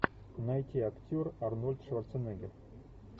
найти актер арнольд шварценеггер